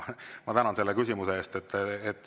Ma tänan selle küsimuse eest!